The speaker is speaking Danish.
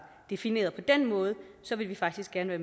defineret på den måde ville vi faktisk gerne